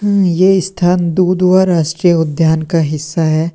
ये स्थान दुधवा राष्ट्रीय उद्यान का हिस्सा है।